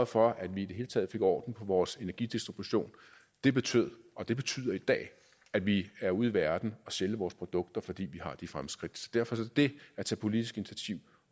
for at vi i det hele taget fik orden på vores energidistribution det betød og det betyder i dag at vi er ude i verden og sælge vores produkter fordi vi har de fremskridt derfor er det at tage politisk initiativ